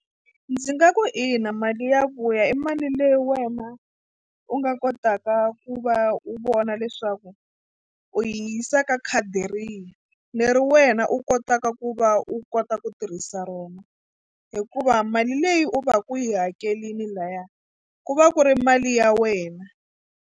Ndzi nga ku ina mali ya vuya i mali leyi wena u nga kotaka ku va u vona leswaku u yi yisa ka khadi rihi leri wena u kotaka ku va u kota ku tirhisa rona hikuva mali leyi u va ku u yi hakerile lahaya ku va ku ri mali ya wena.